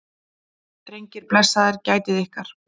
Drengir, blessaðir gætið ykkar.